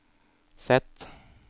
Z